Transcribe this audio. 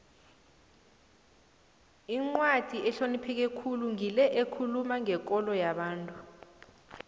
incwadi ehlonipheke khulu ngile ekhuluma ngekolo yomuntu